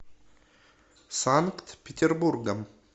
санкт петербургом